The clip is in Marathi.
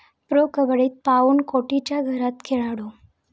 प्रो कबड्डीत पाऊण कोटीच्या घरात खेळाडू